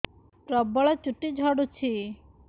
ପ୍ରବଳ ଚୁଟି ଝଡୁଛି